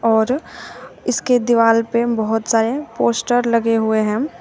और इसके दीवार पे बहुत सारे पोस्टर लगे हुए हैं।